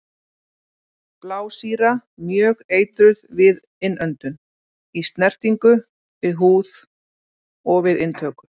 Blásýra- Mjög eitruð við innöndun, í snertingu við húð og við inntöku.